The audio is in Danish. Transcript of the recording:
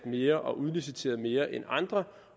mere og udliciteret mere end andre